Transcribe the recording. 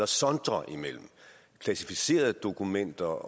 sondre imellem klassificerede dokumenter